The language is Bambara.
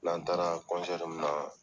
N'an taara min na